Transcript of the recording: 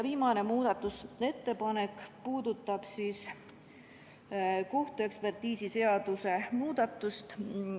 Viimane muudatusettepanek puudutab kohtuekspertiisiseaduse muutmist.